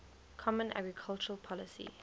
common agricultural policy